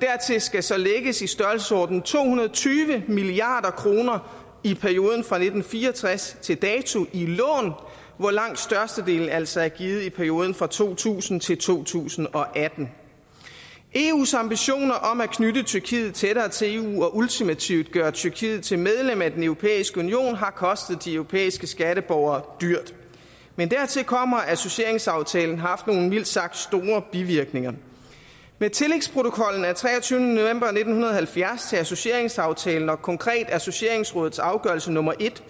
dertil skal så lægges i størrelsesordenen to hundrede og tyve milliard kroner i perioden fra nitten fire og tres til dato i hvor langt størstedelen altså er givet i perioden fra to tusind til to tusind og atten eus ambitioner om at knytte tyrkiet tættere til eu og ultimativt gøre tyrkiet til medlem af den europæiske union har kostet de europæiske skatteborgere dyrt men dertil kommer at associeringsaftalen har haft nogle mildt sagt store bivirkninger med tillægsprotokollen af treogtyvende november nitten halvfjerds til associeringsaftalen og konkret associeringsrådets afgørelse nummer en